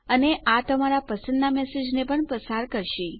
અને આ તમારા પસંદના મેસેજને પણ પસાર કરશે